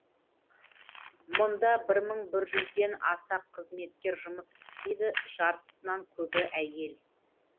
мұнда бір мың бір жүзден аса қызметкер жұмыс істейді жартысынан көбі әйел